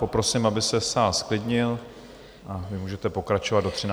Poprosím, aby se sál zklidnil, a vy můžete pokračovat do 13. hodiny.